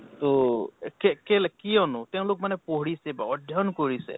তʼএ কেলে কিয়নো তেওঁলোক মানে পঢ়িছে, অধ্য়য়ণ কৰিছে